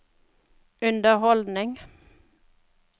underholdning